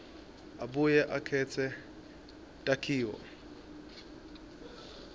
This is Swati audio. abuye akhetse takhiwo